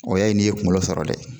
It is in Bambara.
O ya ye n'i ye kunkolo sɔrɔ dɛ.